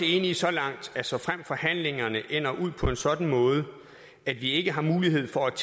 enige så langt at såfremt forhandlingerne ender ud på en sådan måde at vi ikke har mulighed for at